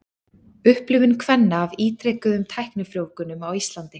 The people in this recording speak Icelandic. Upplifun kvenna af ítrekuðum tæknifrjóvgunum á Íslandi.